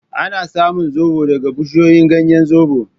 Ana samun zobo daga bushashen ganyen Zobo.